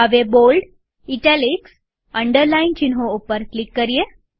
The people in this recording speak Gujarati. હવે બોલ્ડ ઇટાલિક્સ અને અંડરલાઈન ચિહ્નો ઉપર ક્લિક કરીએ